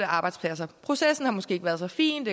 arbejdspladser processen har måske ikke været så fin